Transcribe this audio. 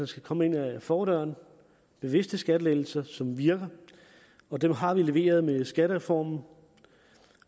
skal komme ind ad fordøren bevidste skattelettelser som virker og dem har vi leveret med skattereformen